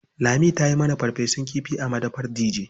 Lami ta yi mana farfesun kifi a madafar Dije.